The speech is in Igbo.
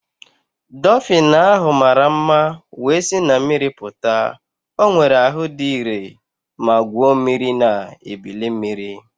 Dofin ahụ mara mma wee si na mmiri pụta. O nwere ahụ dị ire ma gwuo mmiri na ebili mmiri.